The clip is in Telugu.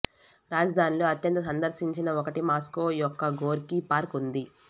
రాజధానిలో అత్యంత సందర్శించిన ఒకటి మాస్కో యొక్క గోర్కీ పార్క్ ఉంది